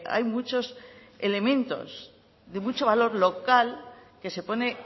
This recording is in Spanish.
hay muchos elementos de mucho valor local que se pone